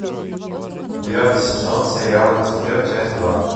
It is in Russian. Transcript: девятый сезон сериал люцифер часть два